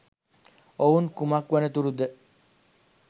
ඔවුන් කුමක් වනතුරුද